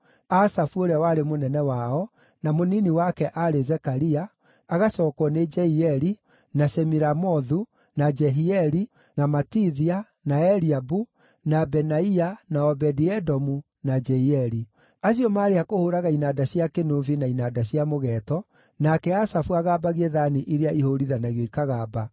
Asafu ũrĩa warĩ mũnene wao, na mũnini wake aarĩ Zekaria, agacookwo nĩ Jeieli, na Shemiramothu, na Jehieli, na Matithia, na Eliabu, na Benaia, na Obedi-Edomu, na Jeieli. Acio maarĩ a kũhũũraga inanda cia kĩnũbi na inanda cia mũgeeto, nake Asafu agambagie thaani iria ihũũrithanagio ikagamba,